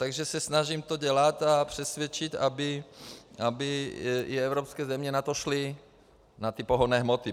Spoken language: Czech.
Takže se snažím to dělat a přesvědčit, aby i evropské země na to šly, na ty pohonné hmoty.